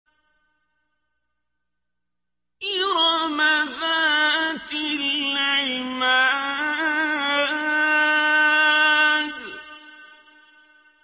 إِرَمَ ذَاتِ الْعِمَادِ